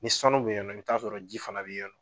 Ni sanu be yen nɔ i bi taa sɔrɔ ji fana be yen nɔ